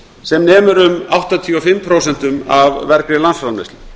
sem nemur um áttatíu og fimm prósent af vergri landsframleiðslu